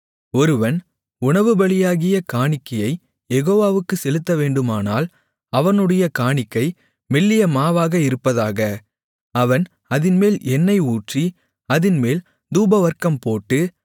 ஒருவன் உணவுபலியாகிய காணிக்கையைக் யெகோவாவுக்குச் செலுத்தவேண்டுமானால் அவனுடைய காணிக்கை மெல்லிய மாவாக இருப்பதாக அவன் அதின்மேல் எண்ணெய் ஊற்றி அதின்மேல் தூபவர்க்கம் போட்டு